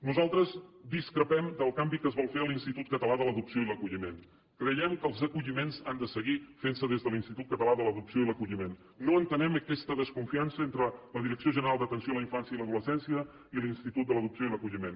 nosaltres discrepem del canvi que es vol fer a l’institut català de l’adopció i l’acolliment creiem que els acolliments han de seguir fent se des de l’institut català de l’adopció i l’acolliment no entenem aquesta desconfiança entre la direcció general d’atenció a la infància i l’adolescència i l’institut de l’adopció i l’acolliment